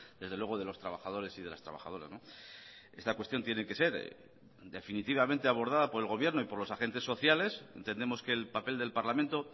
desde luego de los trabajadores y de las trabajadoras esta cuestión tiene que ser definitivamente abordada por el gobierno y por los agentes sociales entendemos que el papel del parlamento